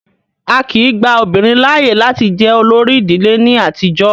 Á kìí gba obìnrin láàyè láti jẹ olórí ìdílé ní àtijọ́.